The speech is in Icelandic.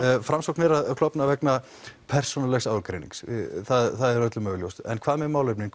framsókn er að klofna vegna persónulegs ágreinings það er öllum augljóst en hvað með málefnin